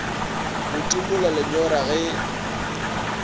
go timola lenyora ge e